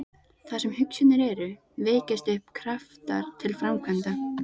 Þar sem hugsjónir eru, vekjast upp kraftar til framkvæmda.